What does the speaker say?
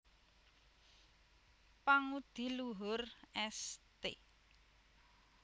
Pangudi Luhur St